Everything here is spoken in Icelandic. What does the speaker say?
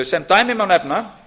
sem dæmi má nefna